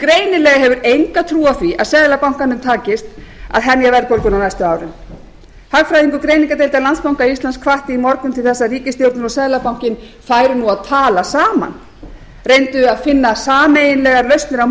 greinilega hefur enga trú á því að seðlabankanum takist að hemja verðbólguna á næstu árum hagfræðingur greiningardeildar landsbanka íslands hvatti í morgun til þess að ríkisstjórnin og seðlabankinn færu nú að tala saman reyndu að finna sameiginlegar lausnir á